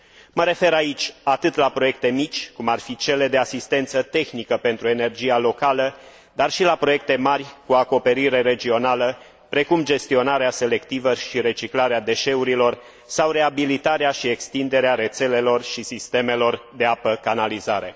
Mă refer aici atât la proiecte mici, cum ar fi cele de asistență tehnică pentru energia locală, cât și la proiecte mari, cu acoperire regională, precum gestionarea selectivă și reciclarea deșeurilor sau reabilitarea și extinderea rețelelor și sistemelor de apă canalizare.